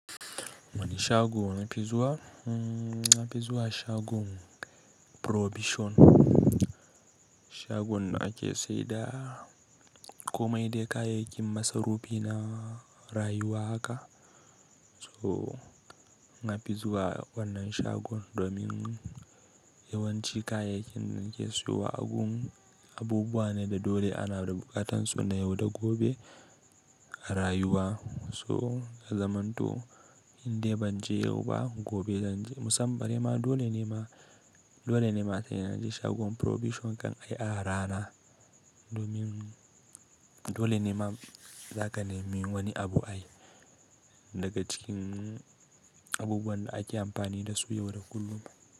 Wani shagon na pizuwa, na pizuwa shagon kayan masarufi. Shagon ake saida komai dai kayayyakin masarufi na rayuwa haka. So na pizuwa wannan shagon domin yawanci kayayyakin da ake siyo a abubuwan da dole ana da bukatan su na yau da gobe a rayuwa. So ya zamanto inda banje yau ba gobe zanje. Musamman bari ma dole ne ma, dole ne ma a sanya shi shagon kayan masarufi kan ai a rana domin dole ne ma zakane mi wani abu ayi daga cikin abubuwan da ake amfani da su yau da kullum.